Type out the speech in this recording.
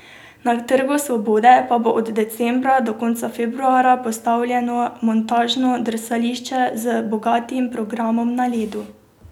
Na Trgu svobode pa bo od decembra do konca februarja postavljeno montažno drsališče z bogatim programom na ledu.